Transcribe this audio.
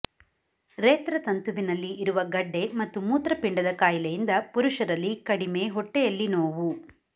ರೇತ್ರ ತಂತುವಿನಲ್ಲಿ ಇರುವ ಗಡ್ಡೆ ಮತ್ತು ಮೂತ್ರಪಿಂಡದ ಕಾಯಿಲೆಯಿಂದ ಪುರುಷರಲ್ಲಿ ಕಡಿಮೆ ಹೊಟ್ಟೆಯಲ್ಲಿ ನೋವು